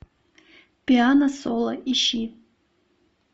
пиано соло ищи